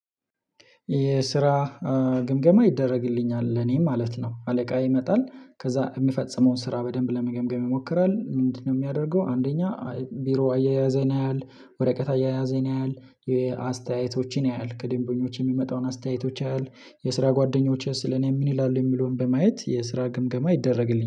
የስራ ግምገማ ይደረግልኛል ለኔ ማለት ነው። አለቃ ይመጣል ከዛ የምፈጽመውን ስራ በደንብ ለመገምገም ይሞክራል ምንድነው የሚያደርገው? አንደኛ ቢሮ አያያዜን ያያል ወሬቀት አያያዜን ያያል የአስተያየቶችን ያያል ከደንበኞች የሚመጣውን አስተያየቶች ያያል። የስራ ጓደኞቼ ስለ እኔ ምን ይላሉ የሚለውን በማየት የስራ ግምገማ ይደረግልኛል